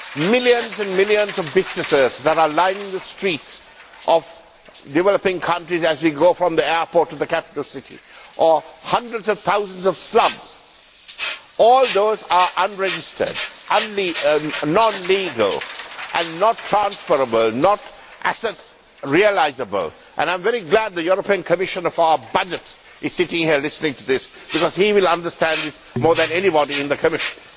millions and millions of businesses that are lining the streets of developing countries as we go from the airport to the capital city, or hundreds of thousands of slums, all those are unregistered, non legal and not transferable, not asset realisable, and I am very glad that the European Commissioner for Budgets is sitting here listening to this, because he will understand this more than anybody in the Commission.